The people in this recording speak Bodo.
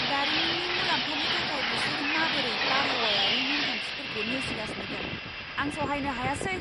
दारिमिननि मुलाम्फानि थाखाय बिसोर माबोरै बारहावायारि नेमखान्थिफोरखौ नेवसिगासिनो दं, आं सहायनो हायासै!